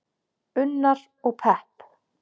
Unnar: Og pepp.